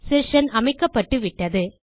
session அமைக்கப்பட்டுவிட்டது